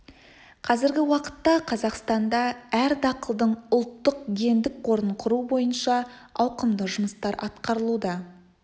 қазіргі уақытта қазақстанда әр дақылдың ұлттық гендік қорын құру бойынша ауқымды жұмыстар атқарылуда